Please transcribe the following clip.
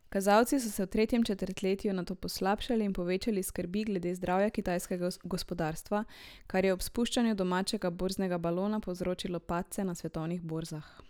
Kazalci so se v tretjem četrtletju nato poslabšali in povečali skrbi glede zdravja kitajskega gospodarstva, kar je ob spuščanju domačega borznega balona povzročilo padce na svetovnih borzah.